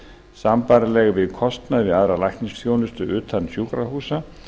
sambærileg við kostnað við aðra læknisþjónustu utan sjúkrahúsa